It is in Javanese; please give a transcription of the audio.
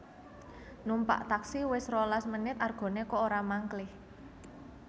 Numpak taksi wes rolas menit argone kok ora mangklih